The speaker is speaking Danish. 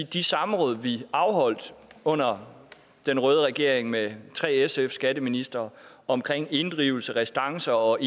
de samråd vi afholdt under den røde regering med tre sf skatteministre om inddrivelse restance og